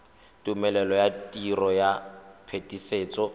tumelelo ya tiro ya phetisetso